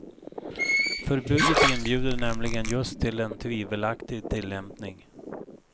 Förbudet inbjuder nämligen just till en tvivelaktig tillämpning.